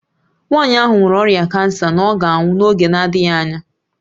Nwanyị ahụ nwere ọrịa kansa na ọ ga-anwụ n'oge na-adịghị anya